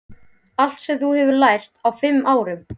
Allt sem þú hefur lært á fimm árum.